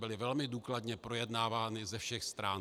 Byly velmi důkladně projednávány ze všech stran.